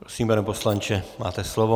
Prosím, pane poslanče, máte slovo.